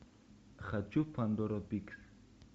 хочу пандору пикс